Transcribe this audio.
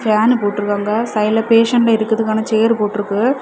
Pan போட்ருக்காங்க சைட்ல patient இருக்குறதுக்காக சேர் போட்ருக்கு.